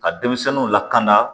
Ka denmisɛnninw lakana